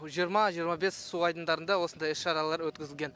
жиырма жиырма бес су айдындарында осындай іс шаралар өткізілген